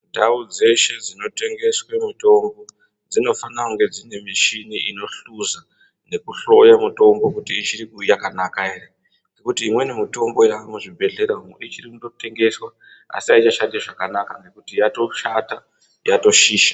Ndau dzeshe dzinotengeswa mitombo dzinofana kunge dzine mishini inohluza inohloya mitombo kuti uchakanaka here ngekuti mitombo yavamo muzvibhedhlera ichiri kutengeswa asi haichashandi zvakanaka ngekuti yatoshata yatoshisha.